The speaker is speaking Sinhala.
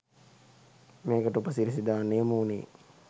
මේකට උපසිරසි දාන්න යොමුවුණේ